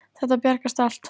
Þetta bjargast allt.